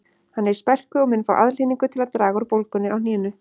Hann er í spelku og mun fá aðhlynningu til að draga úr bólgunni á hnénu